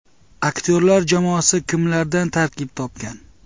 Aktyorlar jamoasi kimlardan tarkib topgan?